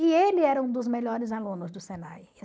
E ele era um dos melhores alunos do Senai.